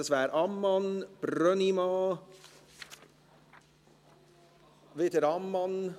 Das wären Grossrätin Ammann, Grossrat Brönnimann und wieder Grossrätin Ammann.